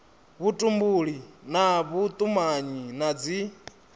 vhutumbuli na vhutumanyi na dzi